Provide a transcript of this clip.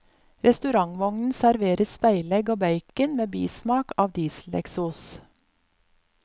Restaurantvognen serverer speilegg og bacon med bismak av dieseleksos.